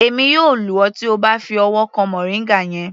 Èmi yóò lù ọ tí O bá fi ọwọ́ kan moringa yẹn.